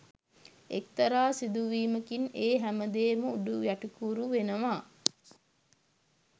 එක්තරා සිදුවීමකින් ඒ හැමදේම උඩුයටිකුරු වෙනවා